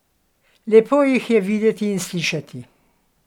Lepo jih je videti in slišati.